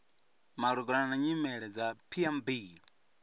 malugana na nyimele dza pmb